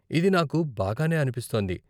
ఇది నాకు బాగానే అనిపిస్తోంది.